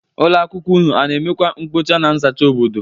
Ụlọ akwụkwọ ụnụ ana emekwọ mkpocha na nzacha obodo?